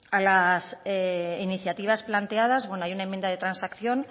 a las iniciativas planteadas bueno hay una enmienda de transacción